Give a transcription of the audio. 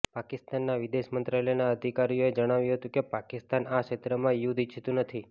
પાકિસ્તાનના વિદેશ મંત્રાલયના અધિકારીઓએ જણાવ્યું હતું કે પાકિસ્તાન આ ક્ષેત્રમાં યુદ્ધ ઈચ્છતું નથી